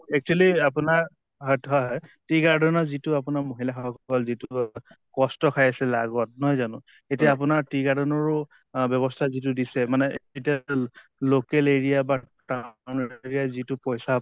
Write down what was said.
actually আপোনাৰ tea garden ৰ যিটো আপোনাৰ মহিলা সকল যিটো অহ কষ্ট খাই আছিল আগত নহয় জানো? এতিয়া আপোনাৰ tea garden ৰো অহ ব্য়ৱস্থা যিটো দিছে মানে local area বা area যিটো পইছা